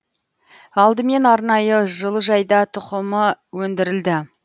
алдымен арнайы жылыжайда тұқымы өндірілді